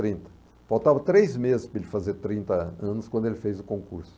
trinta. Faltava três meses para ele fazer trinta anos quando ele fez o concurso.